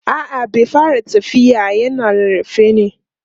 a'a bai fara tafiya na yana rarrafe ne